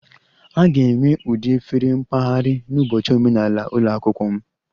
A ga-enwe ụdị efere mpaghara n'ụbọchị omenala ụlọ akwụkwọ m